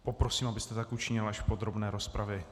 Poprosím, abyste tak učinil až v podrobné rozpravě.